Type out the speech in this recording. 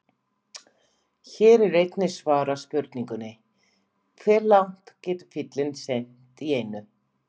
Hér er einnig svarað spurningunni: Hve langt getur fíll synt í einu?